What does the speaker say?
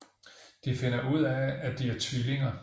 De finder ud af at de er tvillinger